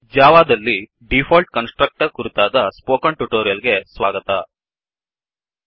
ಜಾವಾದಲ್ಲಿ default constructor default constructor ಕುರಿತಾದ spoken tutorial ಗೆ ಸ್ವಾಗತ